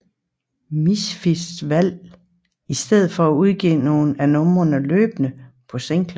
Misfits valgte i stedet for at udgive nogle af numrene løbende på singler